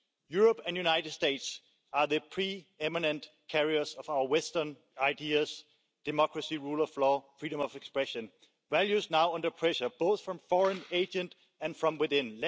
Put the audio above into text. Europe and the United States are the pre eminent carriers of our Western ideas democracy, rule of law and freedom of expression values now under pressure both from foreign agents and from within.